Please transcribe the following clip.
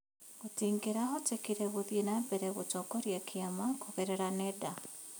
Gũtingĩrahotekire gũthiĩ na mbere gũtongiria kĩama kũgerera nenda.